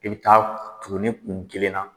I bɛ taa tuguni kun kelen na